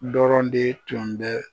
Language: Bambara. Dɔrɔn de tun bɛ